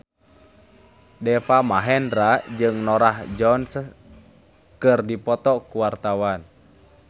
Deva Mahendra jeung Norah Jones keur dipoto ku wartawan